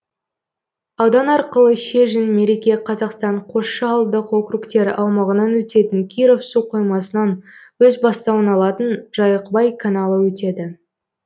аудан арқылы шежін мереке қазақстан қосшы ауылдық округтері аумағынан өтетін киров су қоймасынан өз бастауын алатын жайықбай каналы өтеді